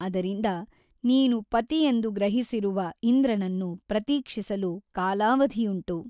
ಅದರಿಂದ ನೀನು ಪತಿಯೆಂದು ಗ್ರಹಿಸಿರುವ ಇಂದ್ರನನ್ನು ಪತ್ರೀಕ್ಷಿಸಲು ಕಾಲಾವಧಿಯುಂಟು.